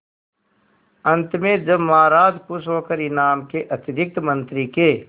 अंत में जब महाराज खुश होकर इनाम के अतिरिक्त मंत्री के